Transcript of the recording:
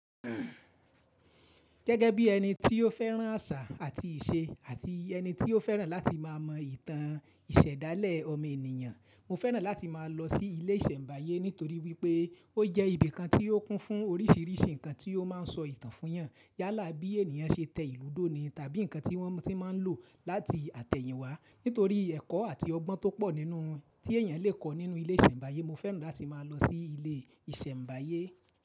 Gẹ́gẹ́ bí ẹni tí ó fẹ́ràn àṣà àti ìṣe àti ẹni tí ó fẹ́ràn láti máa mọ ìtàn ìsẹ̀dálẹ̀ ọmọ ènìyàn, mo fẹ́ràn láti máa lọ sí ilé ìsẹ̀mbáyé nítorí wípé ó jẹ́ ibi kan tí ó kún fún oríṣìíríṣìí nǹkan tí ó máa ń sọ ìtàn fún yàn. Yálà bí ènìyàn se tẹ̀ ìlú dó ni tàbí nǹkan tí wọ́n ti máa ń lò láti àtẹ̀yìn wá nítorí ẹ̀kọ́ àti ọgbọ́n tó pọ̀ nínú tí èèyàn lè kọ́ nínú ilé ìsẹ̀mbáyé. Mo fẹ́ràn láti máa lọ sí ilé ìsẹ̀mbáyé.